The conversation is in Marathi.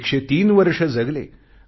ते 103 वर्ष जगले